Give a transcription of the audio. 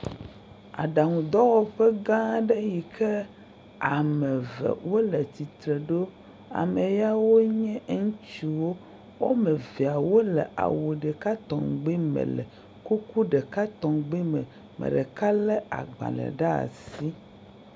Aɖaŋudɔwɔƒe gã aɖe yi ke ame eve wole tsitre ŋu ɖo, ame yawoe nye ŋutsuwo, woame eve wole awu ɖeka tɔŋgbe me le kuku ɖeka tɔngbe me, ame ɖeka lé agbalẽ ɖe asi.